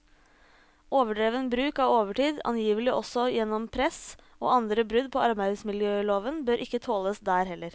Overdreven bruk av overtid, angivelig også gjennom press, og andre brudd på arbeidsmiljøloven bør ikke tåles der heller.